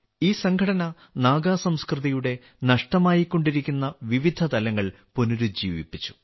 ഈ സംഘടന നാഗാസംസ്കൃതിയുടെ നഷ്ടമായിക്കൊണ്ടിരിക്കുന്ന വിവിധതലങ്ങൾ പുനരുജ്ജീവിപ്പിച്ചു